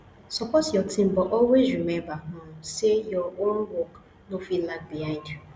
support your team but always remember um say your own work no fit lag behind